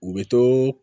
U bɛ to